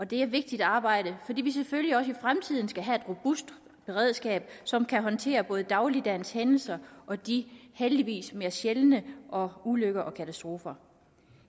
det er et vigtigt arbejde fordi vi selvfølgelig også i fremtiden skal have et robust beredskab som kan håndtere både dagligdagens hændelser og de heldigvis mere sjældne ulykker og katastrofer